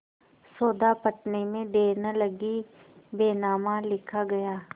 सौदा पटने में देर न लगी बैनामा लिखा गया